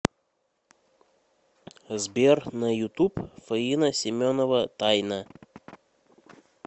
сбер на ютуб фаина семенова тайна